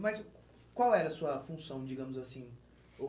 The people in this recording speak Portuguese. Mas qual era a sua função, digamos assim?